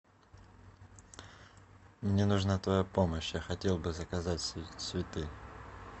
мне нужна твоя помощь я хотел бы заказать цветы